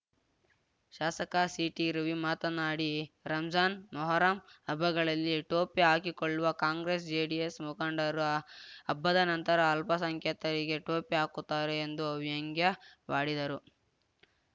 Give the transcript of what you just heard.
ಶಾಸಕ ಸಿಟಿ ರವಿ ಮಾತನಾಡಿ ರಂಜಾನ್‌ ಮೊಹರಂ ಹಬ್ಬಗಳಲ್ಲಿ ಟೋಪಿ ಹಾಕಿಕೊಳ್ಳುವ ಕಾಂಗ್ರೆಸ್‌ ಜೆಡಿಎಸ್‌ ಮುಖಂಡರು ಹಬ್ಬದ ನಂತರ ಅಲ್ಪಸಂಖ್ಯಾತರಿಗೆ ಟೋಪಿ ಹಾಕುತ್ತಾರೆ ಎಂದು ವ್ಯಂಗ್ಯವಾಡಿದರು